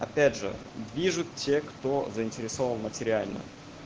опять же вижу те кто заинтересован материально